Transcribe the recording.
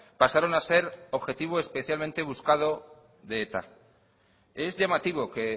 pasaron a ser objetivo especialmente buscado de eta es llamativo que